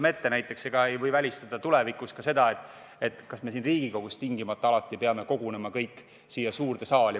Mõtleme näiteks sellele – ja tulevikus ei saa seda välistada –, kas me Riigikogus peame alati tingimata kogunema kõik siia suurde saali.